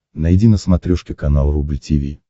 найди на смотрешке канал рубль ти ви